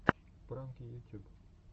пранки ютюб